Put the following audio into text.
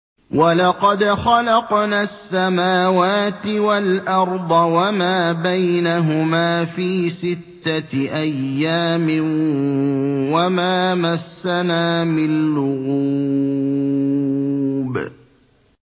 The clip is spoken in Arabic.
وَلَقَدْ خَلَقْنَا السَّمَاوَاتِ وَالْأَرْضَ وَمَا بَيْنَهُمَا فِي سِتَّةِ أَيَّامٍ وَمَا مَسَّنَا مِن لُّغُوبٍ